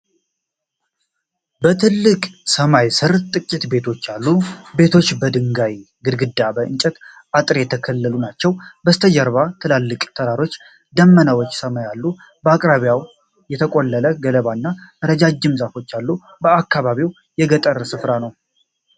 በትልቅ ሰማይ ስር ጥቂት ቤቶች አሉ። ቤቶቹ በድንጋይ ግድግዳና በእንጨት አጥር የተከለሉ ናቸው። በስተጀርባ ትላልቅ ተራሮችና ደመናዎች በሰማይ አሉ። በአቅራቢያው የተቆለለ ገለባና ረዣዥም ዛፎች አሉ። አካባቢው የገጠር ሥፍራ ነው።